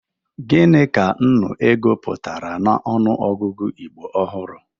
Gini ka nnụ ego pụtara n'ọnụọgụgụ Igbo ọhụrụ?